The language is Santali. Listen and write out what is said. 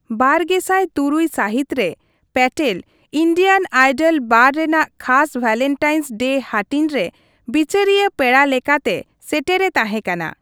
ᱵᱟᱨᱜᱮᱥᱟᱭ ᱛᱩᱨᱩᱭ ᱥᱟᱹᱦᱤᱛ ᱨᱮ, ᱯᱮᱴᱮᱞ ᱤᱱᱰᱤᱭᱟᱱ ᱟᱭᱰᱚᱞ ᱵᱟᱨ ᱨᱮᱱᱟᱜ ᱠᱷᱟᱥ ᱵᱷᱮᱞᱮᱱᱴᱟᱭᱤᱱᱥ ᱰᱮ ᱦᱟᱹᱴᱤᱧ ᱨᱮ ᱵᱤᱪᱟᱹᱨᱤᱭᱟᱹ ᱯᱮᱲᱟ ᱞᱮᱠᱟᱛᱮ ᱥᱮᱴᱮᱨᱮ ᱛᱟᱦᱮᱸᱠᱟᱱᱟ ᱾